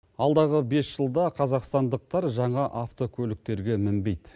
алдағы бес жылда қазақстандықтар жаңа автокөліктерге мінбейді